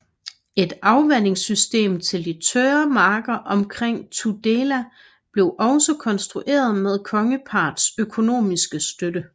Et afvandingssystem til de tørre marker omkring Tudela blev også konstrueret med kongeparrets økonomiske støtte